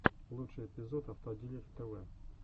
лучший эпизод автодилер тв